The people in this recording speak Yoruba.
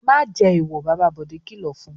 "Má jẹ èèwọ̀!" Bàbá rẹ̀ Bọ̀dé kìlọ̀ fún un.